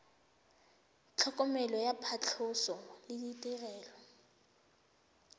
tlhokomelo ya phatlhoso le ditirelo